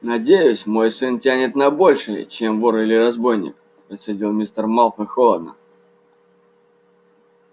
надеюсь мой сын тянет на большее чем вор или разбойник процедил мистер малфой холодно